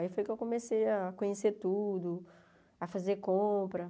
Aí foi que eu comecei a conhecer tudo, a fazer compra.